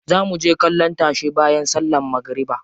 Za muje kallon tashe bayan sallan magariba.